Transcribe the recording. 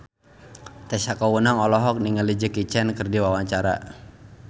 Tessa Kaunang olohok ningali Jackie Chan keur diwawancara